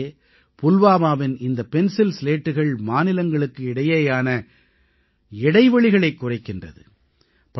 உள்ளபடியே புல்வாமாவின் இந்த பென்சில் ஸ்லேட்டுகள் மாநிலங்களுக்கு இடையேயான இடைவெளிகளைக் குறைக்கின்றது